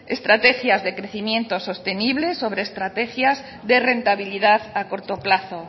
estrategias de crecimiento sostenible sobre estrategias de rentabilidad a corto plazo